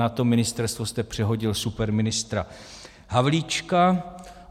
Na to ministerstvo jste přehodil superministra Havlíčka.